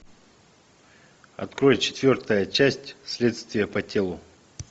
открой четвертая часть следствие по телу